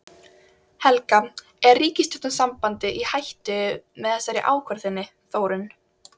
Helga: Er ríkisstjórnarsamstarfið í hættu með þessari ákvörðun þinni Þórunn?